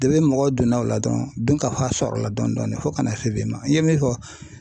mɔgɔ donna o la dɔrɔn dunkafa sɔrɔla dɔɔnin dɔɔnin fo ka na se bi ma i ye min fɔ